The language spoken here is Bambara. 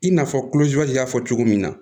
I n'a fɔ y'a fɔ cogo min na